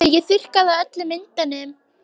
Pabbi ég þurrkaði af öllum myndunum.